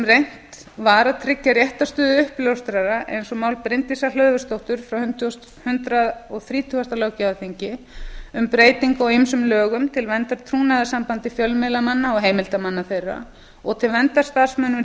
reynt var að tryggja réttarstöðu uppljóstrara eins og mál bryndísar hlöðversdóttur frá hundrað og þrítugasta löggjafarþingi um breytingu á ýmsum lögum til verndar trúnaðarsambandi fjölmiðlamanna og heimildarmanna þeirra og til verndar starfsmönnum